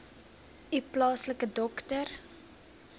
u plaaslike dokter